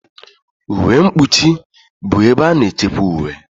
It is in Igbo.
Uwe mkpuchi bụ ebe a na-echekwa uwe.